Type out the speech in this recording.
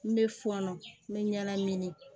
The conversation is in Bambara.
N bɛ fɔɔnɔ n bɛ ɲala ɲini